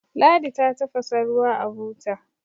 ladi ta tafasa ruwa a buta